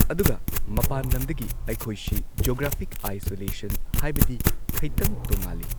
ꯑꯗꯨꯒ ꯃꯄꯥꯟ ꯂꯝꯗꯒꯤ ꯑꯩꯈꯣꯏꯁꯤ ꯖꯣꯒ꯭ꯔꯥꯐꯤꯛ ꯑꯥꯏꯁꯣꯂꯦꯁꯟ ꯍꯥꯏꯕꯗꯤ ꯈꯩꯇꯪ ꯇꯣꯉꯥꯜꯂꯤ꯫